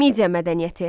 Midiya mədəniyyəti.